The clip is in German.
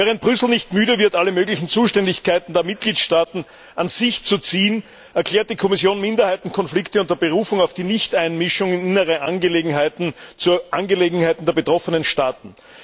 Während Brüssel nicht müde wird, alle möglichen Zuständigkeiten der Mitgliedstaaten an sich zu ziehen, erklärt die Kommission Minderheitenkonflikte unter Berufung auf die Nichteinmischung in innere Angelegenheiten zur Angelegenheit der betroffenen Staaten.